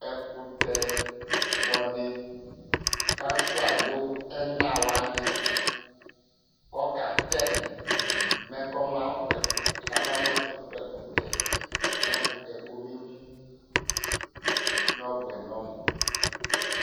Ɛkʋtɛ Kpɔ ni kafʋa ayʋ ɛna wani kʋ ɔka tɛ mɛ kama mʋ ɛfu kpɔ ɛkʋtɛ mɛ ɛkʋtɛ yɛ kɔme mʋ nɔ bʋɛ nɔ mu